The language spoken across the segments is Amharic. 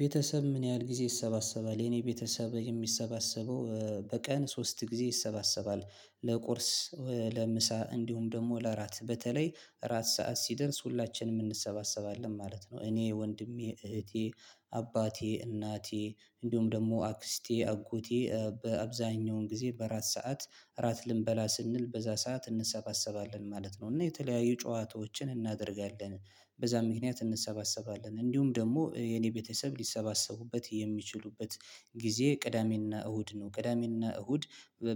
ቤተሰብ ምን ያህል ጊዜ ይሰባሰባል የኔ ቤተሰብ የሚሰባሰበው በቀን ሶስት ጊዜ ይሰባሰባል ለቁርስ ለምሳ እንዲሁም ደግሞ ለአራት በተለይ አራት ሰዓት ሲደርስ ሁላችንም እንሰባሰባለን ማለት ነው። እኔ ወንድሜ እህቴ አባቴ እናቴ እንዲሁም ደግሞ አክስቴ አጎቴ በአብዛኛውን ጊዜ በራት ሰዓት እራት ልንበላ ስንል በዛ ሰዓት እንሰባሰባለን ማለት ነው። እና የተለያዩ ጨዋታዎችን እናደርጋለን በዛ ምክንያት እንሰባሰባለን እንዲሁም ደግሞ የኔ ቤተሰብ ሊሰባሰቡበት የሚችሉበት ጊዜ ቅዳሜና እሁድ ነው። ቅዳሜና እሁድ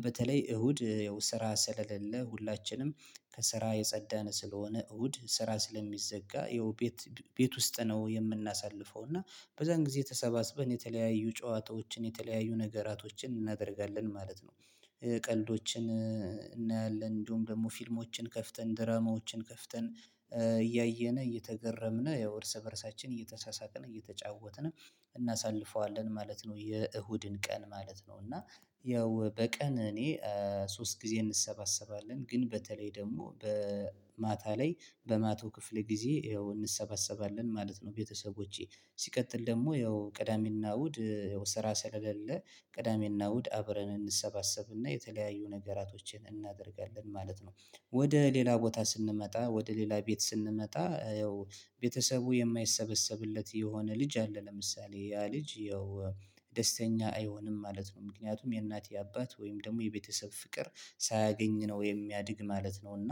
በተለይ እሁድ ያው ስራ ስለሌለ ሁላችንም ከስራ የጸዳ ስለሆነ እሁድ ስራ ስለሚዘጋ ያው ቤት ቤት ውስጥ ነው። የምናሳልፈው እና በዛን ጊዜ ተሰባስበን የተለያዩ ጨዋታዎችን የተለያዩ ነገራቶችን እናደርጋለን ማለት ነው። ቀልዶችን እናያለን እንዲሁም ደግሞ ፊልሞችን ከፍተን ድራማዎችን ከፍተን እያየን እየተገረምን ያው እርስ በራሳችን እየተሳሳቅን እየተጫወትን እናሳልፈዋለን ማለት ነው። የእሁድን ቀን ማለት ነው። እና ያው በቀን እኔ ሶስት ጊዜ እንሰባሰባለን ግን በተለይ ደግሞ በማታ ላይ በማታ ክፍል ጊዜ እንሰባሰባለን ማለት ነው። ቤተሰቦቼ ሲቀጥል ደግሞ ይኸው ቅዳሜና እሁድ ይኸው ስራ ስለሌለ ቅዳሜና እሁድ አብረን እንሰባሰብና የተለያዩ ነገራቶችን እናደርጋለን ማለት ነው። ወደ ሌላ ቦታ ስንመጣ ወደ ሌላ ቤት ስንመጣ ያው ቤተሰቡ የማይሰበሰብለት የሆነ ልጅ አለ ለምሳሌ ያ ልጅ ያው ደስተኛ አይሆንም ማለት ነው። ምክንያቱም የእናት የአባት ወይም ደግሞ የቤተሰብ ፍቅር ሳያገኝ ነው የሚያድግ ማለት ነው። እና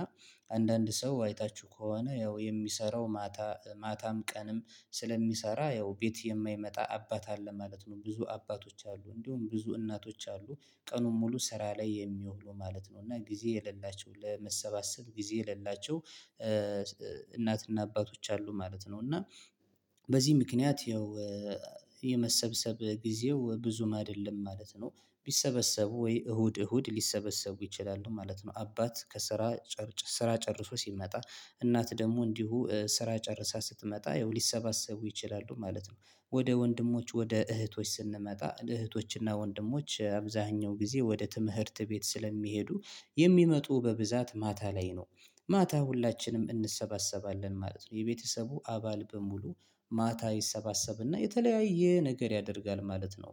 አንዳንድ ሰው አይታችሁ ከሆነ ያው የሚሰራው ማታ ማታም ቀንም ስለሚሰራ ያው ቤት የማይመጣ አባት አለ ማለት ነው። ብዙ አባቶች አሉ እንዲሁም ብዙ እናቶች አሉ። ቀኑን ሙሉ ስራ ላይ የሚውሉ ማለት ነው እና ጊዜ የሌላቸው ለመሰባሰብ ጊዜ የሌላቸው። እናትና አባቶች አሉ ማለት ነው። እና በዚህ ምክንያት ይኸው ጊዜው ብዙም አይደለም ማለት ነው። ቢሰበሰቡ ወይ እሁድ እሁድ ሊሰበሰቡ ይችላሉ ማለት ነው። አባት ከስራ ስራ ጨርሶ ሲመጣ እናት ደግሞ እንዲሁ ስራ ጨርሳ ስትመጣ ይኸው ሊሰባሰቡ ይችላሉ ማለት ነው። ወደ ወንድሞች ወደ እህቶች ስንመጣ እህቶችና ወንድሞች አብዛኛው ጊዜ ወደ ትምህርት ቤት ስለሚሄዱ የሚመጡ በብዛት ማታ ላይ ነው። ማታ ሁላችንም እንሰባሰባለን ማለት ነው የቤተሰቡ አባል በሙሉ ማታ ይሰባሰብና የተለያየ ነገር ያደርጋል ማለት ነው።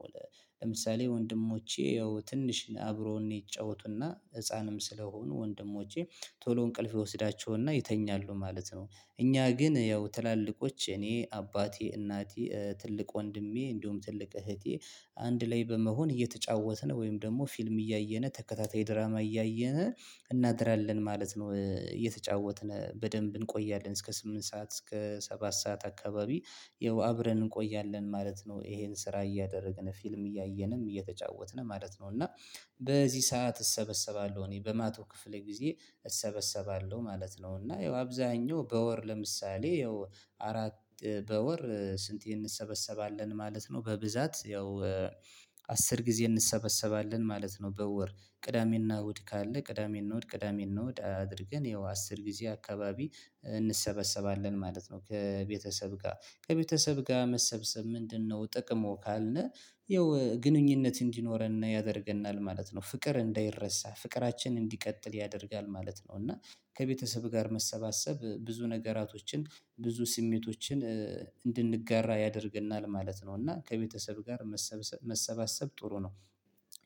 ለምሳሌ ወንድሞቼ ያው ትንሽ አብሮ እኔ ይጫወቱና ህፃንም ስለሆኑ ወንድሞቼ ቶሎ እንቅልፍ ይወስዳቸውና ይተኛሉ ማለት ነው። እኛ ግን ያው ትላልቆች እኔ አባቴ እናቴ ትልቅ ወንድሜ እንዲሁም ትልቅ እህቴ አንድ ላይ በመሆን እየተጫወትን ወይም ደግሞ ፊልም እያየን ተከታታይ ድራማ እያየን እናድራለን ማለት ነው። እየተጫወትን በደንብ እንቆያለን እስከ ስምንት ሰዓት እስከ ሰባት ሰዓት አካባቢ ይኸው አብረን እንቆያለን ማለት ነው። ይሄን ስራ እያደረግን ፊልም እያየንም እየተጫወትን ማለት ነው። እና በዚህ ሰዓት እሰበሰባለሁ እኔ በማታ ክፍሌ ጊዜ እሰበሰባለሁ ማለት ነው። እና ይኸው አብዛኛው በወር ለምሳሌ ይኸው አራት በወር ስንት እንሰበሰባለን ማለት ነው? በብዛት ያው አስር ጊዜ እንሰበሰባለን ማለት ነው። በወር ቅዳሜ እና እሁድ ካለ ቅዳሜ እና እሁድ ቅዳሜ እና እሁድ አድርገን ያው አስር ጊዜ አካባቢ እንሰበሰባለን ማለት ነው። ከቤተሰብ ጋር ከቤተሰብ ጋር መሰብሰብ ምንድነው ጥቅሙ ካልነ? ይኸው ግንኙነት እንዲኖረን ያደርገናል ማለት ነው። ፍቅር እንዳይረሳ ፍቅራችንን እንዲቀጥል ያደርጋል ማለት ነው። እና ከቤተሰብ ጋር መሰባሰብ ብዙ ነገራቶችን ብዙ ስሜቶችን እንድንጋራ ያደርገናል ማለት ነው። እና ከቤተሰብ ጋር መሰብሰብ ጥሩ ነው።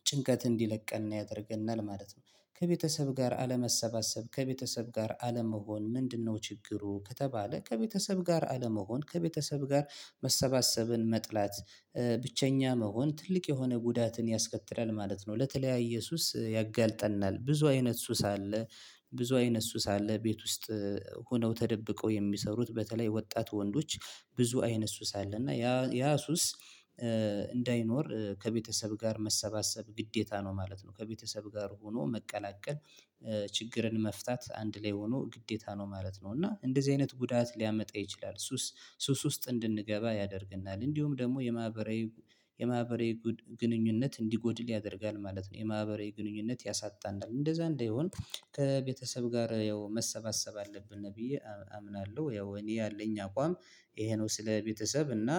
ጭንቀት እንዲለቀን ያደርገናል ማለት ነው። ከቤተሰብ ጋር አለመሰባሰብ ከቤተሰብ ጋር አለመሆን ምንድነው ችግሩ? ከተባለ ከቤተሰብ ጋር አለመሆን ከቤተሰብ ጋር መሰባሰብን መጥላት ብቸኛ መሆን ትልቅ የሆነ ጉዳትን ያስከትላል ማለት ነው። ለተለያየ ሱስ ያጋልጠናል ብዙ አይነት ሱስ አለ። ብዙ አይነት ሱስ አለ ቤት ውስጥ ሆነው ተደብቀው የሚሰሩት በተለይ ወጣት ወንዶች ብዙ አይነት ሱስ አለ። እና ያ ያ ሱስ እንዳይኖር ከቤተሰብ ጋር መሰባሰብ ግዴታ ነው ማለት ነው። ከቤተሰብ ጋር ሆኖ መቀላቀል ችግርን መፍታት አንድ ላይ ሆኖ ግዴታ ነው ማለት ነው። እና እንደዚህ አይነት ጉዳት ሊያመጣ ይችላል። ሱስ ሱስ ውስጥ እንድንገባ ያደርግናል እንዲሁም ደግሞ የማህበራዊ የማህበራዊ ግንኙነት እንዲጎድል ያደርጋል ማለት ነው። የማህበራዊ ግንኙነት ያሳጣናል እንደዛ እንደሆን ከቤተሰብ ጋር ያው መሰባሰብ አለብን ብዪ አምናለሁ ያው እኔ ያለኝ አቋም ይሄ ነው። ስለ ቤተሰብ እና